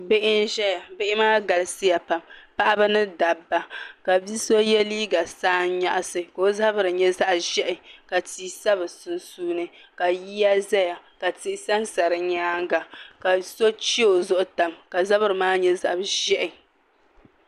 Bihi ʒɛya bihi maa galisiya pam paɣab' ni dabba ka bi so ye liiga saannyɛɣisi ka o zabiri nye zaɣ'ʒɛhi ka tii sa bɛ sunsuuni ka yiya zaya ka tihi sansa di nyaanga ka so che o zuɣu tam ka zabiri maa nye zab'ʒɛhi